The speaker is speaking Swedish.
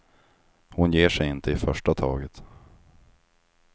Hon ger sig inte i första taget.